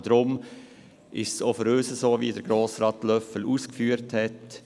Deshalb ist es auch für uns so, wie es Grossrat Löffel ausgeführt hat: